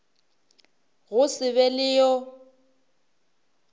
go se be le yo